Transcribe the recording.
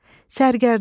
Sərgərdan,